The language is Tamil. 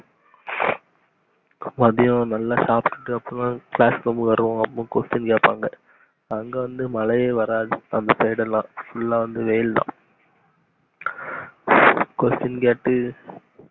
மதியம் நல்லா சாப்டு அப்பத்தா class குள்ள வருவோம் அப்ப question கேப்பாங்க அங்க வந்து மழையே வராது அந்த side லா full லா வந்து வெயில்தா